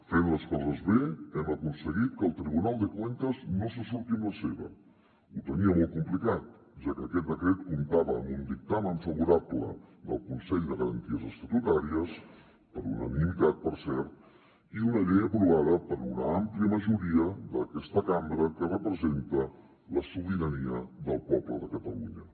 fent les coses bé hem aconseguit que el tribunal de cuentas no se surti amb la seva ho tenia molt complicat ja que aquest decret comptava amb un dictamen favorable del consell de garanties estatutàries per unanimitat per cert i una llei aprovada per una àmplia majoria d’aquesta cambra que representa la sobirania del poble de catalunya